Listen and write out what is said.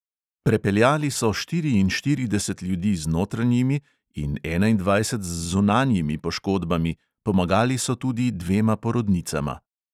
Prepeljali so štiriinštirideset ljudi z notranjimi in enaindvajset z zunanjimi poškodbami, pomagali so tudi dvema porodnicama.